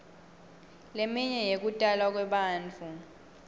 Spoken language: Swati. leminye yekutalwa kwebantfu